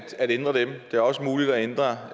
ændre dem og det er også muligt at ændre